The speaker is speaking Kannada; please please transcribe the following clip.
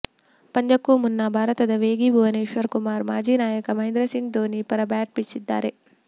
ಪಂದ್ಯಕ್ಕೂ ಮುನ್ನ ಭಾರತದ ವೇಗಿ ಭುವನೇಶ್ವರ್ ಕುಮಾರ್ ಮಾಜಿ ನಾಯಕ ಮಹೇಂದ್ರ ಸಿಂಗ್ ಧೋನಿ ಪರ ಬ್ಯಾಟ್ ಬೀಸಿದ್ದಾರೆ